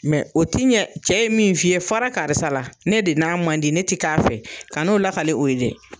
Mɛ o ti ɲɛ cɛ ye min f'i ye fara karisa la ne de n'a man di ne ti k'a fɛ ka n'o lakale o ye dɛ